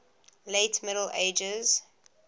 late middle ages